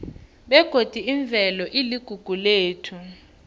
begodi imvelo iligugu lethu